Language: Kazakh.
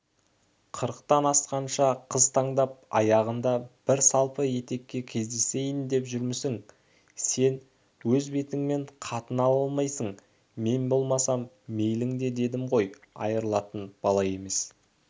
қырықтан асқанша қыз таңдап аяғында бір салпы етекке кездесейін деп жүрмісің сен өз бетіңмен қатын ала алмайсың мем болмасам мейлің дедім ғой айрылатын бала емес